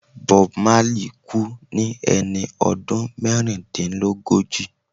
Bob Marley kú ní ẹni ọdún mẹ́rìndínlógójì.